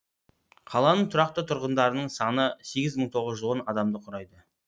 қаланың тұрақты тұрғындарының саны сегіз мың тоғыз жүз он адамды құрайды